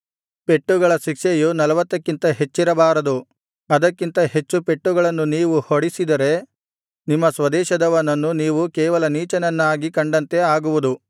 ಪೆಟ್ಟುಗಳ ಶಿಕ್ಷೆಯು ನಲ್ವತ್ತಕ್ಕಿಂತ ಹೆಚ್ಚಿರಬಾರದು ಅದಕ್ಕಿಂತ ಹೆಚ್ಚು ಪೆಟ್ಟುಗಳನ್ನು ನೀವು ಹೊಡಿಸಿದರೆ ನಿಮ್ಮ ಸ್ವದೇಶದವನನ್ನು ನೀವು ಕೇವಲ ನೀಚನನ್ನಾಗಿ ಕಂಡಂತೆ ಆಗುವುದು